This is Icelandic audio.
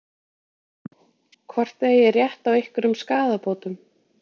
Hvort þið eigið rétt á einhverjum skaðabótum?